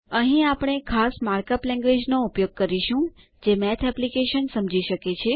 અહીં આપણે ખાસ માર્કઅપ લેન્ગવેજ નો ઉપયોગ કરીશું જે મેથ એપ્લીકેશન સમજી શકે